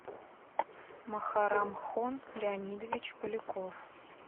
махарамхон леонидович поляков